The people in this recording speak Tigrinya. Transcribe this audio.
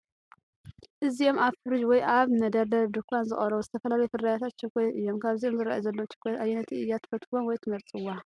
እዚኦም ኣብ ፍሪጅ ወይ ኣብ መደርደሪ ድኳን ዝቐርቡ ዝተፈላለዩ ፍርያት ቸኮሌት እዮም። ካብዞም ዝራኣዩ ዘለው ቸኮሌታት ኣየነይቲ እያ ትፈትውዎም ወይ ትመርፅዋ?